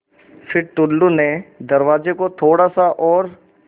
फ़िर टुल्लु ने दरवाज़े को थोड़ा सा और